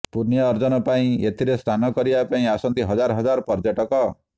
ପୂଣ୍ୟ ଅର୍ଜନ ପାଇଁ ଏଥିରେ ସ୍ନାନ କରିବା ପାଇଁ ଆସନ୍ତି ହଜାର ହଜାର ପର୍ଯ୍ୟଟକ